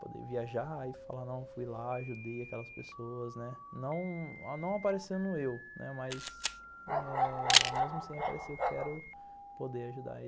Poder viajar e falar, não fui lá, ajudei aquelas pessoas, né, não aparecendo eu, mas eh... mesmo sem aparecer, eu quero poder ajudar.